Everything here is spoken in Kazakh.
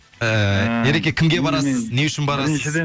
ыыы ереке кімге барасыз не үшін барасыз